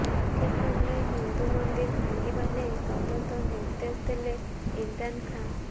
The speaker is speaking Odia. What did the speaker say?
ପାକିସ୍ତାନରେ ହିନ୍ଦୁ ମନ୍ଦିର ଭାଙ୍ଗିବା ନେଇ ତଦନ୍ତ ନିର୍ଦ୍ଦେଶ ଦେଲେ ଇମ୍ରାନ୍ ଖାଁ